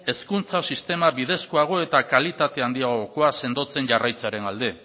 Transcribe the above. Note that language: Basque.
hezkuntza sistema bidezkoago eta kalitate handiagokoa sendotzen jarraitzearen alde